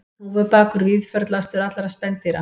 Hnúfubakur víðförlastur allra spendýra